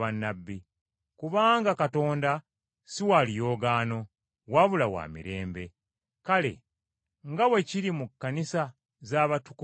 kubanga Katonda si wa luyoogaano, wabula wa mirembe. Kale nga bwe kiri mu Kkanisa z’abatukuvu zonna,